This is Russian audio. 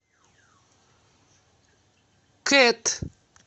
кэт